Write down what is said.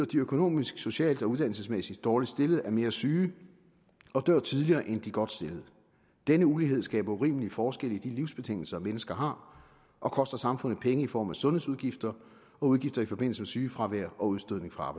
de økonomisk socialt og uddannelsesmæssigt dårligst stillede er mere syge og dør tidligere end de godt stillede denne ulighed skaber urimelige forskelle i de livsbetingelser mennesker har og koster samfundet penge i form af sundhedsudgifter og udgifter i forbindelse med sygefravær og udstødning fra